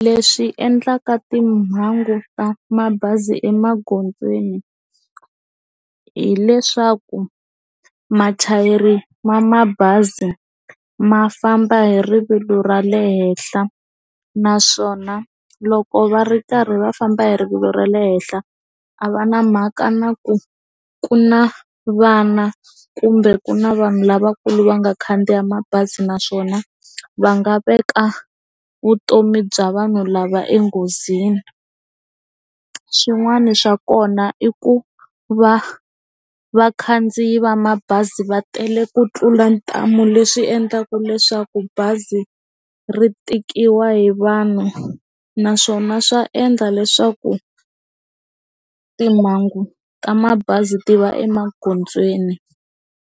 Leswi endlaka timhangu ta mabazi emaghondzweni hileswaku mathayere ma mabazi ma famba hi rivilo ra le henhla naswona loko va ri karhi va famba hi rivilo ra le henhla a va na mhaka na ku ku na vana kumbe ku na vanhu lavakulu va nga khandziya mabazi naswona va nga veka vutomi bya vanhu lava enghozini swin'wana swa kona i ku va vakhandziyi va mabazi va tele ku tlula ntambu leswi endlaka ku leswaku bazi ri tikiwa hi vanhu naswona swa endla leswaku timhangu ta mabazi ti va emagondzweni.